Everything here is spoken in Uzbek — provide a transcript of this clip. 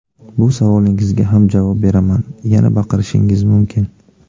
Bu savolingizga ham javob beraman: yana baqirishingiz mumkin”.